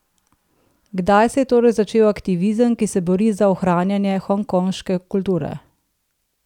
Kdaj se je torej začel aktivizem, ki se bori za ohranjanje hongkonške kulture?